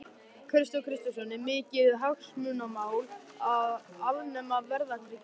Kristján Kristjánsson: Er mikið hagsmunamál að afnema verðtryggingu lána?